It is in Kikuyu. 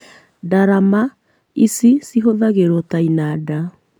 Ndarama ici cihũthagĩrwo ta inanda